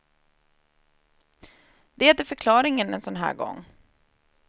Det är förklaringen en sån här gång.